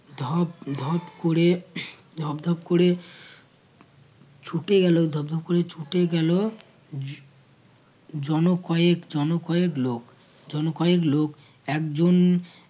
ধপ ধপ ক'রে ধপধপ কোরে ছুটে গেলো ধপধপ করে ছুটে গেলো জ~ জনও কয়েক জনও কয়েক লোক জনও কয়েক লোক। একজন